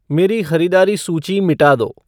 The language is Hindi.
मेरी ख़रीदारी सूची मिटा दो